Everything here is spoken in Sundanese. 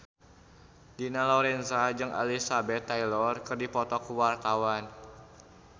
Dina Lorenza jeung Elizabeth Taylor keur dipoto ku wartawan